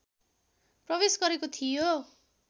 प्रवेश गरेको थियो